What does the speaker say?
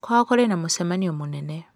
Kwao kũrĩ na mũcemanio mũnene.